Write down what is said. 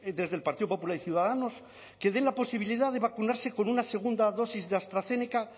desde el partido popular y ciudadanos que den la posibilidad de vacunarse con una segunda dosis de astrazeneca